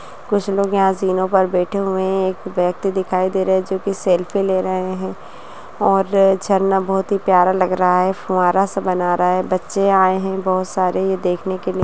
कुछ लोग यहाँ जिनों पर बैठे हुए हैं एक व्यक्ति दिखाई दे रहा है जो की सेल्फी ले रहे है और झरना बहोत ही प्यारा लग रहा है फुव्वारा सा बना रहा है बच्चे आए है बहोत सारे ये देखने के लिए।